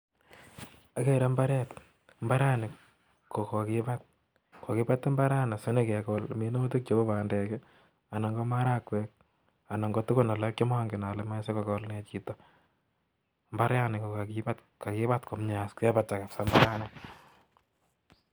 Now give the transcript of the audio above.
Agere mbareet mbaranii kokakibat sigopit kekol kinde minutik cheu marakwek kakibat kabsa mbara nii